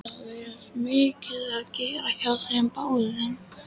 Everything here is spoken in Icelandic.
Það er mikið að gera hjá þeim báðum.